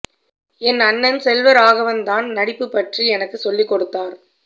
என் அண்ணன் செல்வராகவன் தான் நடிப்பு பற்றி எனக்குச் சொல்லிக் கொடுத்தார்